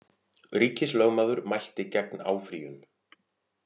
Ríkislögmaður mælti gegn áfrýjun